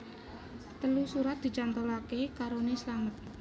Telu surat dicantolake karone slamet